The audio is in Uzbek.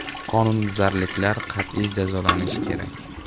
Qonunbuzarliklar qattiq jazolanishi kerak.